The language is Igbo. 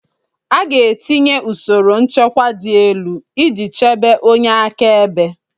A ga-etinye usoro nchekwa dị elu iji chebe onye akaebe